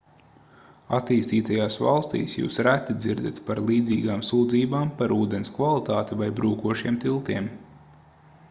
attīstītajās valstīs jūs reti dzirdat par līdzīgām sūdzībām par ūdens kvalitāti vai brūkošiem tiltiem